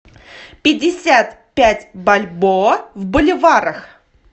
пятьдесят пять бальбоа в боливарах